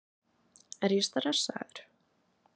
Er ég stressaður?